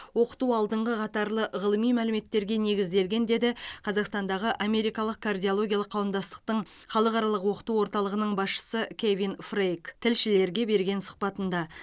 оқыту алдыңғы қатарлы ғылыми мәліметтерге негізделген деді қазақстандағы америкалық кардиологиялық қауымдастықтың халықаралық оқыту орталығының басшысы кевин фрейк тілшілерге берген сұхбатында